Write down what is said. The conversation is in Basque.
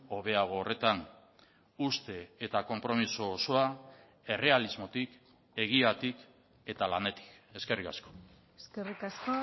hobeago horretan uste eta konpromiso osoa errealismotik egiatik eta lanetik eskerrik asko eskerrik asko